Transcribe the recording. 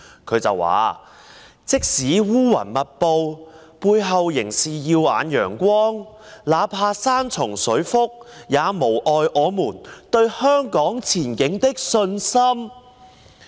他說："即使烏雲密布，背後仍是耀眼陽光；那怕山重水複，也無礙我們對香港前景的信心"。